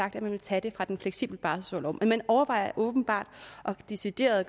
at man vil tage det fra den fleksible barselorlov men man overvejer åbenbart decideret at